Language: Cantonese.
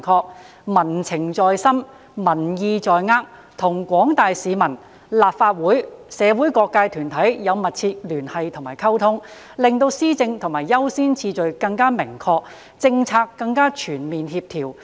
政府須民情在心，民意在握，與廣大市民、立法會、社會各界團體有密切的聯繫和溝通，令施政的優先次序更明確，政策更加全面協調。